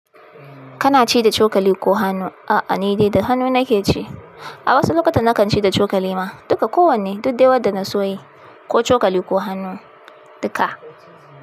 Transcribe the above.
Kana ci da cokali ko hannu? A'a, ni dai da hannu nake ci. A wasu lokuta na kan ci da cokali ma duka kowanne. Duk dai wadda na so yi ko cokali ko hannu duka.